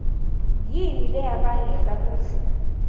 yini leyabangela kutsi